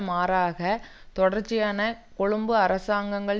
மாறாக தொடர்ச்சியான கொழும்பு அரசாங்கங்கள்